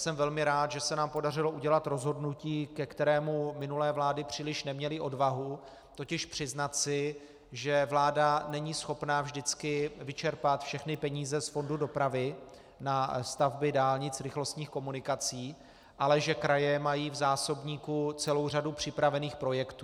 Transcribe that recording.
Jsem velmi rád, že se nám podařilo udělat rozhodnutí, ke kterému minulé vlády příliš neměly odvahu, totiž přiznat si, že vláda není schopna vždycky vyčerpat všechny peníze z fondu dopravy na stavby dálnic rychlostních komunikací, ale že kraje mají v zásobníku celou řadu připravených projektů.